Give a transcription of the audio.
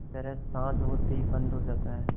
की तरह साँझ होते ही बंद हो जाता है